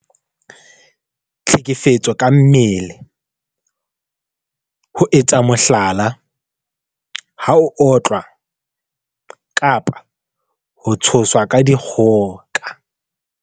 Tlhekefetso ka mmele- ho etsa mohlala, ha o otlwa kapa ho tshoswa ka dikgoka.